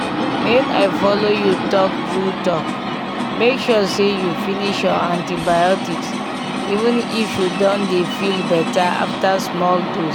make i follow you talk true talkmake sure say you finish your antibiotics even if you don dey feel better after small dose